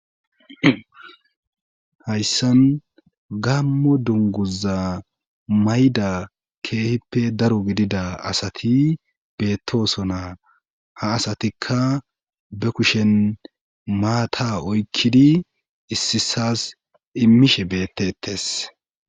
Hayssan gammo dunguza mayda keehippe daro gidida asati beettosona ha asatikka be kushen maata oykkidi issisas immishe bettettes